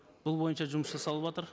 бұл бойынша жұмыс жасалыватыр